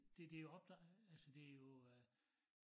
Det det opdag altså det jo øh